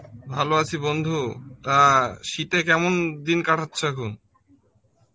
ভালো আছি বন্ধু টা শীত এ কেমন দিন কাটাচ্ছ এখন?